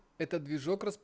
это движок рас